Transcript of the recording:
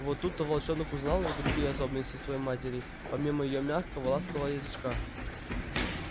вот тут-то волчонок узнал и другие особенности своей матери помимо её мягкого ласкового язычка